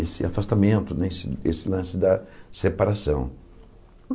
esse afastamento, né esse esse lance da separação.